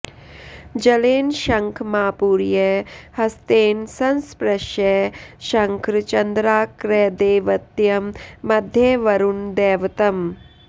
जलेन शङ्खमापूर्य हस्तेन संस्पृश्य शङ्खं चन्द्रार्कदैवत्यं मध्ये वरुणदैवतम्